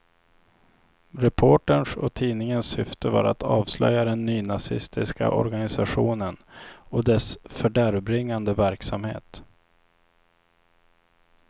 Reporterns och tidningens syfte var att avslöja den nynazistiska organisationen och dess fördärvbringande verksamhet.